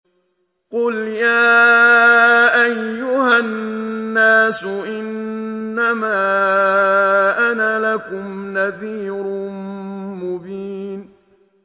قُلْ يَا أَيُّهَا النَّاسُ إِنَّمَا أَنَا لَكُمْ نَذِيرٌ مُّبِينٌ